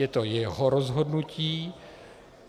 Je to jeho rozhodnutí.